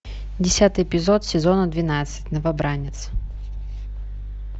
десятый эпизод сезона двенадцать новобранец